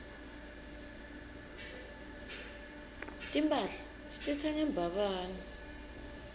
timphahla sititsenga embabane